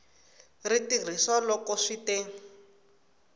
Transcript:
ri tirhisiwa loko swi te